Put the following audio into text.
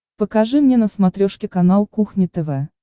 покажи мне на смотрешке канал кухня тв